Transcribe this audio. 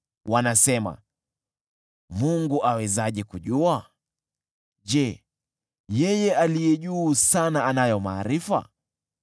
Wanasema, “Mungu awezaje kujua? Je, Yeye Aliye Juu Sana anayo maarifa?”